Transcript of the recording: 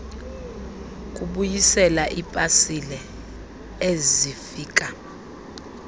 kubuyisela iipasile ezifika